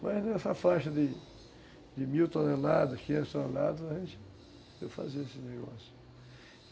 Mas nessa faixa de, de mil toneladas, quinhentos toneladas, eu fazia esse negócio.